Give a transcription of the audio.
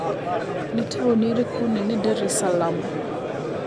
nĩ taũni ĩrĩkũ Nene dar es salaam